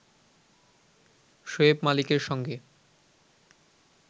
শোয়েব মালিকের সঙ্গে